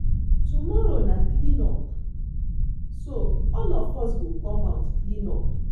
Tomorrow na clean up so all of us go come out clean up